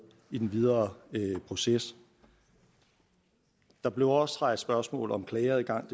i den videre proces der blev også rejst spørgsmål om klageadgang